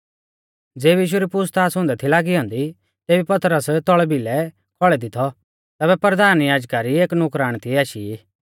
ज़ेबी यीशु री पूछ़ताछ़ हुंदै थी लागी औन्दी तेबी पतरस तौल़ भिलै खौल़ै दी थौ तैबै परधान याजका री एक नुकराण तिऐ आशी